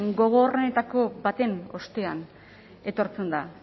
gogorrenetako baten ostean etortzen da